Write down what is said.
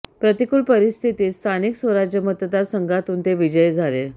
प्रतिकूल परीस्थितीत स्थानिक स्वराज मतदार संघातून ते विजयी झाले